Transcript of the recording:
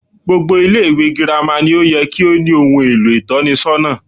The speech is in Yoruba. Gbogbo Ilé ìwé girama ni ó ye kí ó ní ohun èlò ìtónisónà